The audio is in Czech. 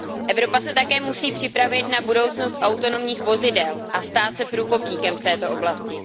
Evropa se také musí připravit na budoucnost autonomních vozidel a stát se průkopníkem v této oblasti.